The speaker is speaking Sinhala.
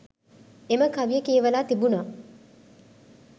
එම කවිය කියවලා තිබුණා